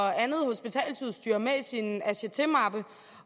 og andet hospitalsudstyr med i sin attachemappe